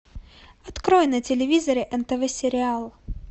открой на телевизоре нтв сериал